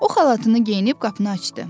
O xalatını geyinib qapını açdı.